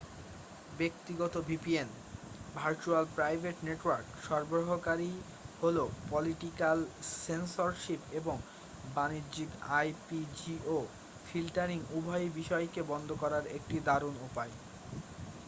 ব্যক্তিগত vpn virtual private network সরবরাহকারী হলো পলিটিকাল সেন্সরশিপ এবং বাণিজ্যিক আইপি-জিও ফিল্টারিং উভয় বিষয়কে বন্ধ করার একটি দারুণ উপায়।